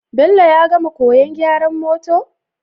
Bello ya gama koyan gyaran motor?